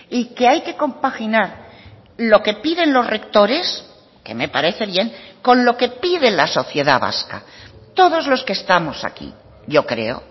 y que hay que compaginar lo que piden los rectores que me parece bien con lo que pide la sociedad vasca todos los que estamos aquí yo creo